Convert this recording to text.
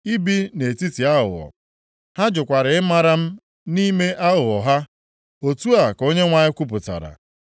I bi nʼetiti aghụghọ. + 9:6 Ebe obibi gị bụ nʼetiti aghụghọ Ha jụkwara ịmara m nʼime aghụghọ ha.” Otu a ka Onyenwe anyị kwupụtara.